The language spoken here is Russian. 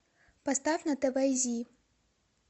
поставь на тв зи